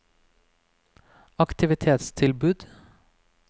aktivitetstilbud